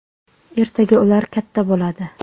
Ertaga ular katta bo‘ladi.